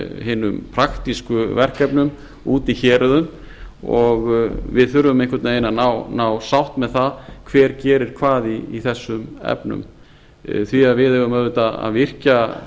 hinum praktísku verkefnum úti í héruðum og við þurfum einhvern veginn að ná sátt með það hver gerir hvað í þessum efnum því við eigum auðvitað að virkja